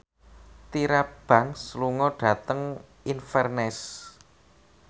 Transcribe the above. Tyra Banks lunga dhateng Inverness